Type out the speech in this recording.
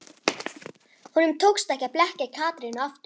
Honum tókst ekki að blekkja Katrínu aftur.